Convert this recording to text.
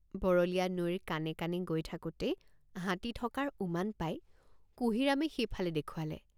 বৰলীয়া নৈৰ কাণে কাণে গৈ থাকোঁতেই হাতী থকাৰ উমান পাই কুঁহিৰামে সেইফালে দেখুৱালে।